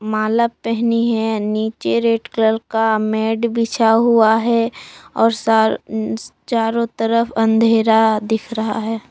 माला पहनी है नीचे रेड कलर का मैट बिछा हुआ है और सारो चारों तरफ अंधेरा दिख रहा है।